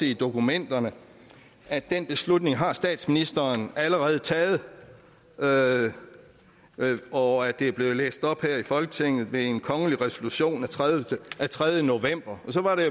i dokumenterne at den beslutning har statsministeren allerede taget taget og at det er blevet læst op her i folketinget ved en kongelig resolution af tredje tredje november så var det